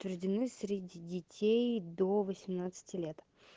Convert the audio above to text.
рождены среди детей до восемнадцати лет